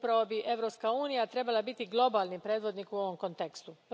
Upravo bi Europska unija trebala biti globalni predvodnik u ovom kontekstu.